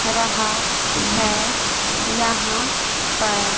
रहा है यहां पर।